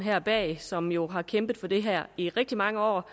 er bag og som jo har kæmpet for det her i rigtig mange år